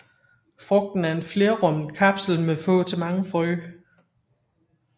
Frugten er en flerrummet kapsel med få til mange frø